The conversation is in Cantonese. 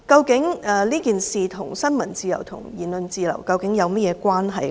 這事件與新聞自由和言論自由究竟有何關係？